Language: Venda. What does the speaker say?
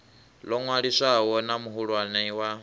ḽo ṅwaliswaho na muhulwane wa